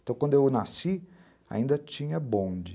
Então, quando eu nasci, ainda tinha bonde.